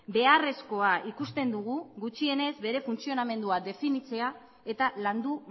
beharrezkoa ikusten dugu gutxienez bere funtzionamendua definitzea eta landu